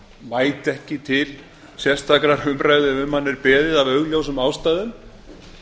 mæta ekki til sérstakrar umræðu ef um hana er beðið af augljósum ástæðum